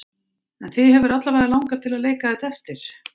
En þig hefur alla vega langað til að leika þetta eftir?